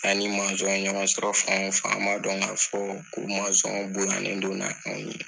An ni ye ɲɔgɔn sɔrɔ fan o fan an b'a dɔn k'a fɔ ka bonyalen don ni anw ye